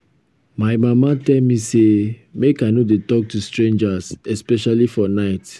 my mama tell me say make i no dey talk to strangers especially for night